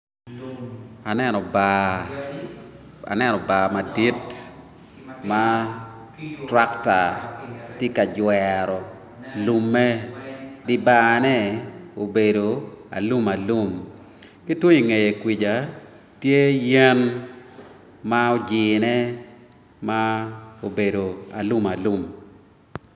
Aneno bar madit ma trackta tye ka jwero lumme di bar-ne obedo alum alum ki tung i ngeye kuja tye yen ma ojine ma obedo alum alum